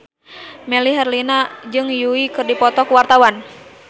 Melly Herlina jeung Yui keur dipoto ku wartawan